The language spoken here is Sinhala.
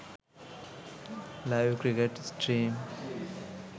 live cricket stream